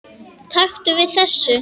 Taktu við þessu.